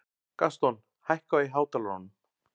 Gaston, hækkaðu í hátalaranum.